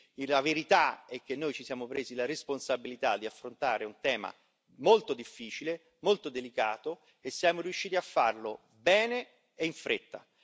Quindi la verità è che noi ci siamo presi la responsabilità di affrontare un tema molto difficile, molto delicato e siamo riusciti a farlo bene e in fretta.